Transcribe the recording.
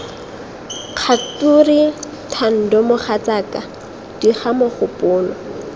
kgature thando mogatsaka diga mogopolo